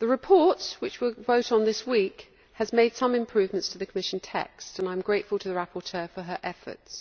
The report which we will vote on this week has made some improvements to the Commission text, and I am grateful to the rapporteur for her efforts.